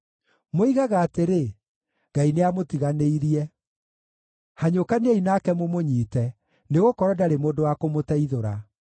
Moigaga atĩrĩ, “Ngai nĩamũtiganĩirie; hanyũkaniai nake mũmũnyiite, nĩgũkorwo ndarĩ mũndũ wa kũmũteithũra.”